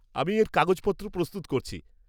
আমি এর কাগজপত্র প্রস্তুত করছি।